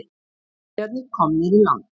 Farþegarnir komnir í land